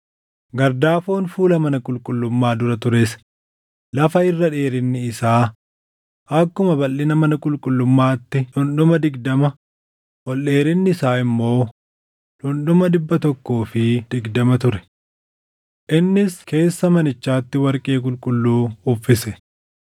Gardaafoon fuula mana qulqullummaa dura tures lafa irra dheerinni isa akkuma balʼina mana qulqullummaatti dhundhuma digdama, ol dheerinni isaa immoo dhundhuma dhibba tokkoo fi digdama ture. Innis keessa manichaatti warqee qulqulluu uffise.